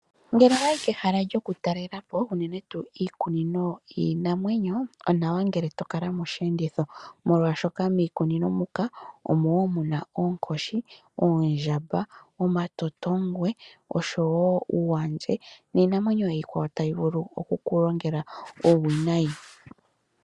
Ngele owayi kehala lyo kutalela po unene tuu iikunino yiinamwenyo, onawa ngele to kala mosheenditho, molwaashoka mikunino muka omo woo muna oonkoshi, oondjamba, oma totongwe, oshowo uukaandje niinamwenyo iikwawo tayi vulu oku kulongela uuwinayi.